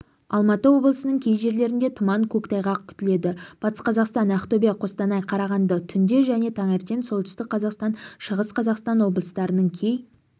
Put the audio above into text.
алматы облысының кей жерлерінде тұман көктайғақ күтіледі батыс қазақстан ақтөбе қостанай қарағанды түнде және таңертең солтүстік қазақстан шығыс қазақстан облыстарының кей